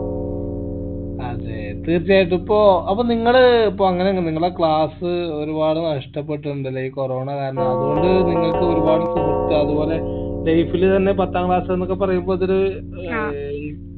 അതെ തീർച്ചയായിട്ടും ഇപ്പോ അപ്പോ നിങ്ങള് ഇപ്പൊ അങ്ങനെ അങ് നിങ്ങളെ class ഒരുപാട് നഷ്ട്ടപെട്ടിട്ടിണ്ടല്ലേ ഈ corona കാരണം അതോണ്ട് നിങ്ങക്ക് ഒരുപാട് സുഹൃത്ത് അതുപോലെ life ഇൽ തന്നെ പത്താം class എന്നൊക്കെ പറയിമ്പോ അതോര് ഏർ